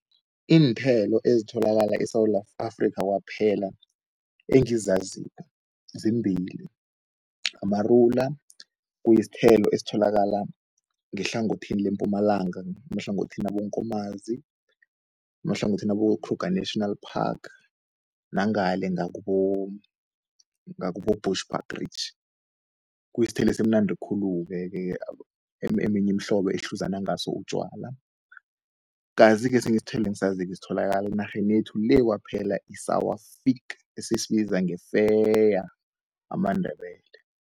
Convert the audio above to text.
Iinthelo ezitholakala eSewula Afrikha kwaphela engizaziko zimbili, amarula kuyisthelo esitholakala ngehlangothini leMpumalanga, emahlangothini waboNkomazi, emahlangothini wabo-Kruger National Park nangale ngakubo, ngakubo-Bushbuckridge. Kuyisthelo esimnandi khulu-ke eminye imihlobo ehluza nangaso utjwala. Kazi-ke esinye isithelo engisaziko esitholakala enarheni yethu le kwaphela i-sour fig esisibiza ngefeya amaNdebele.